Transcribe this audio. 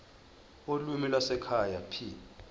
ulimi lwasekhaya p